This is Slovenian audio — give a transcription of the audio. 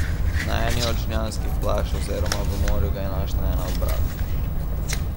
Na eni od žnjanskih plaž oziroma v morju ga je našla ena od bralk.